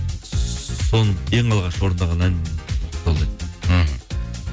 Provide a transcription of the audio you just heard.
соның ең алғаш орындаған әнім сол еді мхм